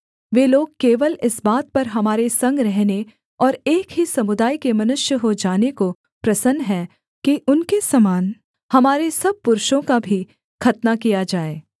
वे लोग केवल इस बात पर हमारे संग रहने और एक ही समुदाय के मनुष्य हो जाने को प्रसन्न हैं कि उनके समान हमारे सब पुरुषों का भी खतना किया जाए